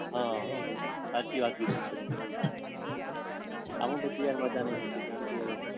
હમ સાચી વાત કીધી તે. આમાં પછી યાર મજા નઈ આવતી કારણકે